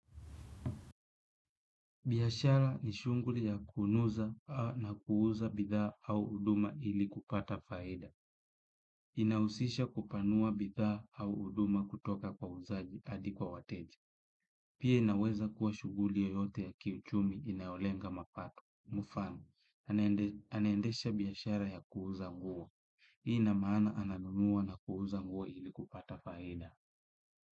Biashara ni shughuli ya kunuza na kuuza bidhaa au huduma ili kupata faida. Inahusisha kupanua bidhaa au huduma kutoka kwa wauzaji hadi kwa wateja. Pia inaweza kuwa shughuli yoyote ya kiuchumi inayolenga mapato. Mfano, anaendesha biashara ya kuuza nguo. Ina maana ananunua na kuuza nguo ili kupata faida.